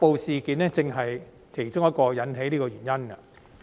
這正是其中一個引起"黑暴"事件的原因。